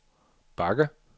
bakke